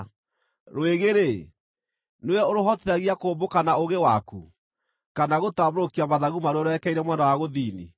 “Rwĩgĩ-rĩ, nĩwe ũrũhotithagia kũmbũka na ũũgĩ waku, kana gũtambũrũkia mathagu maruo rwerekeire mwena wa gũthini?